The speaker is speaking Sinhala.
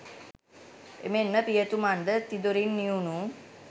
එමෙන්ම පියතුමන් ද තිදොරින් නිවුණු